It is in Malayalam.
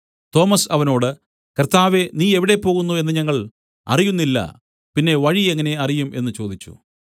തോമസ് അവനോട് കർത്താവേ നീ എവിടെ പോകുന്നു എന്നു ഞങ്ങൾ അറിയുന്നില്ല പിന്നെ വഴി എങ്ങനെ അറിയും എന്നു ചോദിച്ചു